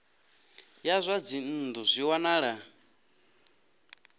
ya zwa dzinnu zwi wanala